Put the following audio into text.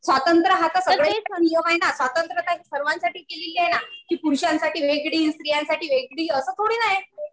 स्वातंत्र्य हा तर सगळ्यासाठी आहे ना. स्वातंत्र्य सर्वासाठी केली आहे ना कि पुरुषांसाठी वेगळी आणि स्त्रियांसाठी वेगळी असं थोडी ना आहे.